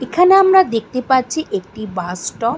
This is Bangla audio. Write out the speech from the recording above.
এখানে আমরা দেখতে পাচ্ছি একটি বাস স্টপ ।